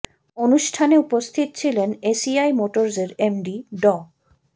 অনুষ্ঠানে উপস্থিত ছিলেন এ সি আই মোটরসের এমডি ড